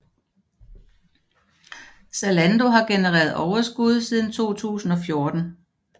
Zalando har genereret overskud siden 2014